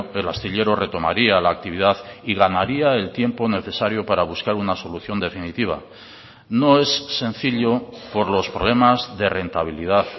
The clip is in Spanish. el astillero retomaría la actividad y ganaría el tiempo necesario para buscar una solución definitiva no es sencillo por los problemas de rentabilidad